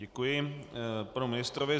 Děkuji panu ministrovi.